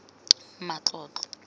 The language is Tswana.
matlotlo